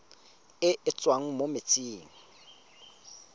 e e tswang mo metsing